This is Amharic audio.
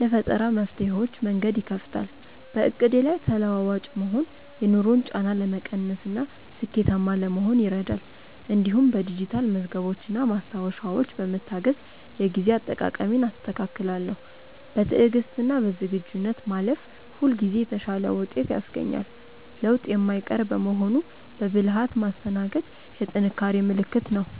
ለፈጠራ መፍትሄዎች መንገድ ይከፍታል። በዕቅዴ ላይ ተለዋዋጭ መሆን የኑሮን ጫና ለመቀነስና ስኬታማ ለመሆን ይረዳል። እንዲሁም በዲጂታል መዝገቦችና ማስታወሻዎች በመታገዝ የጊዜ አጠቃቀሜን አስተካክላለሁ። በትዕግስትና በዝግጁነት ማለፍ ሁልጊዜ የተሻለ ውጤት ያስገኛል። ለውጥ የማይቀር በመሆኑ በብልሃት ማስተናገድ የጥንካሬ ምልክት ነው።